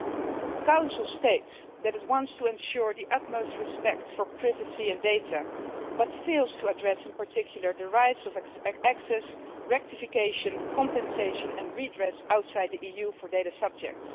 The Council states that it wants to ensure the utmost respect for privacy and data, but fails to address in particular the rights of access, rectification, compensation and redress outside the EU for data subjects.